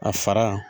A fara